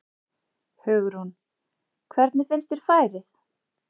Hugrún: Hvernig finnst þér færið?